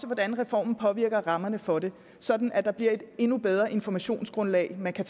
hvordan reformen påvirker rammerne for det sådan at der bliver et endnu bedre informationsgrundlag man kan